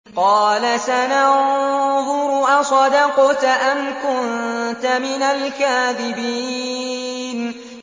۞ قَالَ سَنَنظُرُ أَصَدَقْتَ أَمْ كُنتَ مِنَ الْكَاذِبِينَ